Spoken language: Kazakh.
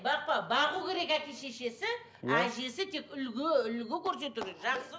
бақпа бағу керек әке шешесі әжесі тек үлгі үлгі көрсету керек жақсы